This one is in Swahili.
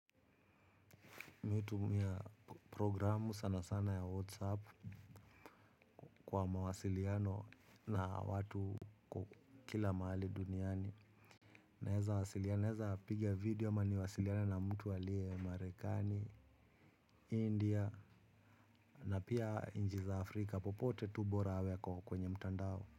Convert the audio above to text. Mi utumia programu sana sana ya whatsapp kwa mawasiliano na watu kwa kila mahali duniani. Naeza asiliana naeza piga video ama niwasiliane na mtu aliye marekani india na pia nji za afrika popote tu bora awe ako kwenye mtandao.